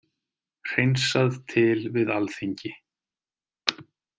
Hreinsað til við Alþingi